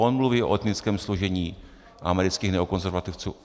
On mluví o etnickém složení amerických neokonzervativců.